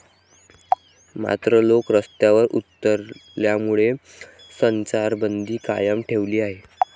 मात्र, लोक रस्त्यावर उतरल्यामुळे संचारबंदी कायम ठेवली आहे.